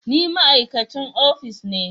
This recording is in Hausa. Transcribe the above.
Ni ma'aikacin ofis ne